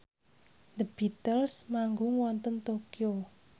The Beatles manggung wonten Tokyo